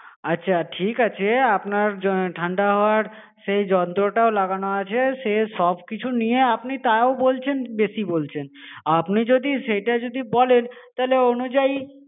আচ্ছা ঠিক আছে আপনার ঠান্ডা হওয়ার সেই যন্ত্রটাও লাগানো আছে. সে সব কিছু নিয়ে আপনি তাও বলছেন বেশি বলছেন আপনি যদি সেটা যদি বলেন তাহলে অনুযায়ী